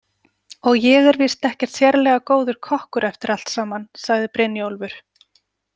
Og ég er víst ekkert sérlega góður kokkur eftir allt saman, sagði Brynjólfur.